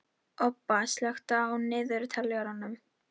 Obba, slökktu á niðurteljaranum.